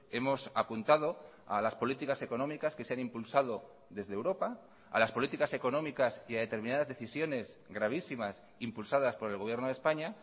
hemos apuntado a las políticas económicas que se han impulsado desde europa a las políticas económicas y a determinadas decisiones gravísimas impulsadas por el gobierno de españa